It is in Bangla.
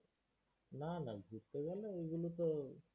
না না। ঘুরতে গেলে ঐগুলো তো